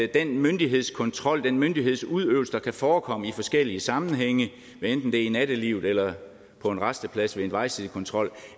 den myndighedskontrol den myndighedsudøvelse der kan forekomme i forskellige sammenhænge hvad enten det er i nattelivet eller på en rasteplads ved en vejsidekontrol